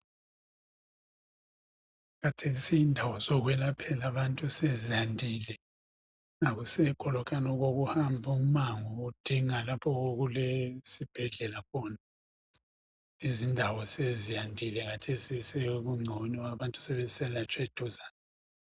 Khathesi indawo zokwelaphela abantu sezandile. Akuseko lokuyana okokuhamba umango udinga lapho okulesibhedlela khona. indawo sezandile khathesi sokungcono. Abantu sebesiyelatshwa eduzane.